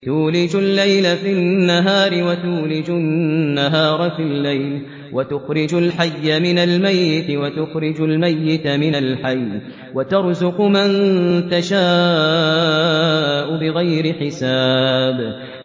تُولِجُ اللَّيْلَ فِي النَّهَارِ وَتُولِجُ النَّهَارَ فِي اللَّيْلِ ۖ وَتُخْرِجُ الْحَيَّ مِنَ الْمَيِّتِ وَتُخْرِجُ الْمَيِّتَ مِنَ الْحَيِّ ۖ وَتَرْزُقُ مَن تَشَاءُ بِغَيْرِ حِسَابٍ